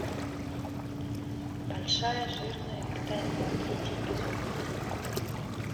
большая жирная викторина третий эпизод